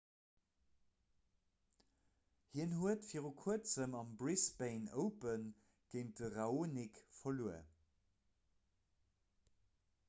hien huet vir kuerzem am brisbane open géint de raonic verluer